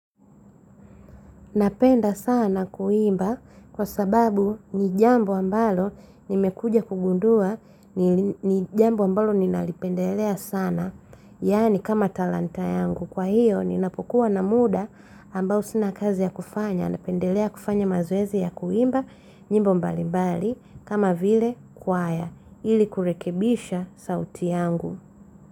Napenda sana kuimba kwa sababu ni jambo ambalo ni mekuja kugundua ni jambo ambalo ni nalipendelea sana. Yani kama talanta yangu kwa hiyo ni napokuwa na muda ambao sina kazi ya kufanya. Napendelea kufanya mazowezi ya kuimba nyimbo mbali mbali kama vile kwaya ili kurekebisha sauti yangu.